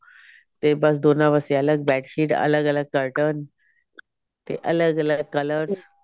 ਤੇ ਬਸ ਦੋਨਾਂ ਵਾਸਤੇ ਅਲੱਗ bedsheet ਅਲੱਗ ਅਲੱਗ curtain ਤੇ ਅਲੱਗ ਅਲੱਗ colors